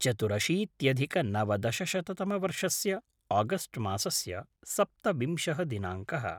चतुरशीत्यधिकनवदशशततमवर्षस्य August मासस्य सप्तविंशः दिनाङ्कः